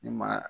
Ne maa